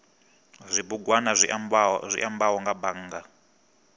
zwibugwana zwi ambaho nga bannga